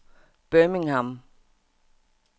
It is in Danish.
Birmingham